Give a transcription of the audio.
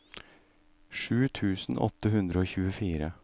sju tusen åtte hundre og tjuefire